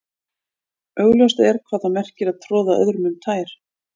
Augljóst er hvað það merkir að troða öðrum um tær.